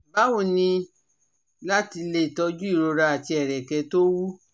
Bawo ni lati le toju irora ati ẹrẹkẹ to wu?